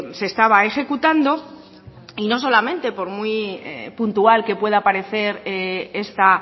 se estaba ejecutando y no solamente por muy puntual que pueda parecer esta